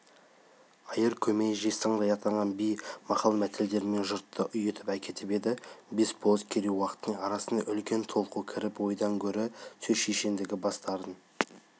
айыр көмей жез таңдай атанған би мақал-мәтелдерімен жұртты ұйытып әкетіп еді бес болыс керей-уақтың арасына үлкен толқу кіріп ойдан гөрі сөз шешендігіне бастарын